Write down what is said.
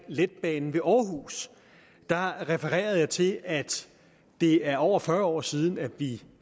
letbanen ved aarhus refererede jeg til at det er over fyrre år siden vi